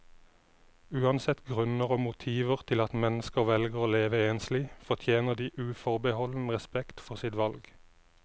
Uansett grunner og motiver til at mennesker velger å leve enslig, fortjener de uforbeholden respekt for sitt valg.